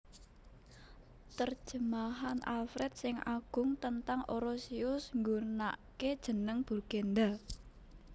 Terjemahan Alfred sing Agung tentang Orosius nggunake jeneng Burgenda